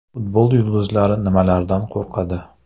Futbol yulduzlari nimalardan qo‘rqadi?